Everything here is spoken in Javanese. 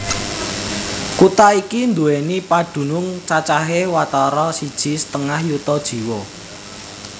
Kutha iki nduwèni padunung cacahé watara siji setengah yuta jiwa